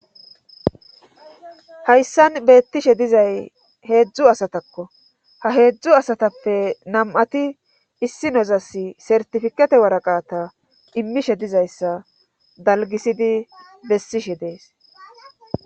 Hayssan beettishe dizay heedzdzu asatakko haheedzdzu asatappe nam'ati issi nozas sertifikete waraqata immishe dizayssa dalgisidi bessishe dees.